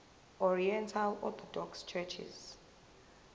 oriental orthodox churches